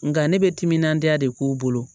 Nga ne bɛ timinandiya de k'u bolo